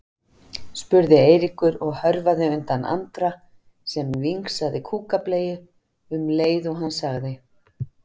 spurði Eiríkur og hörfaði undan Andra sem vingsaði kúkableyju um leið og hann sagði